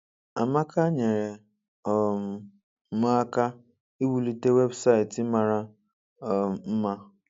“Amaka nyeere um m aka iwulite webụsaịtị mara um mma.